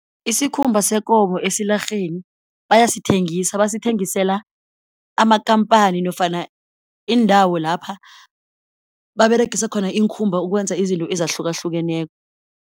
Isikhumba sekomo esilarheni bayasithengisa, basithengisela amakhamphani nofana iindawo lapha baberegisa khona iinkhumba ukwenza izinto ezahlukahlukeneko.